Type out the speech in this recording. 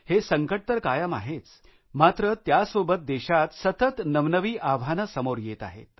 हे संकट तर कायम आहेच मात्र त्यासोबत देशात सतत नवनवी आव्हानं समोर येत आहेत